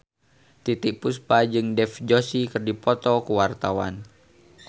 Titiek Puspa jeung Dev Joshi keur dipoto ku wartawan